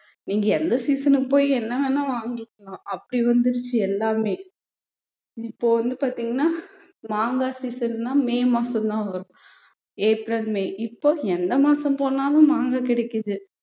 நீங்க எந்த season க்கு போய் என்ன வேணா வாங்கிக்கலாம் அப்படி வந்திடுச்சு எல்லாமே இப்போ வந்து பார்த்தீங்கன்னா மாங்காய் season ன்னா மே மாசம்தான் வரும் ஏப்ரல் மே இப்போ எந்த மாசம் போனாலும் மாங்காய் கிடைக்குது